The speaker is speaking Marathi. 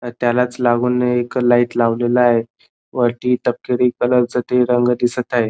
त्यालाच लागून एक लाइट लावलेला आहे वरती तपकिरी कलर च ते रंग दिसत आहे.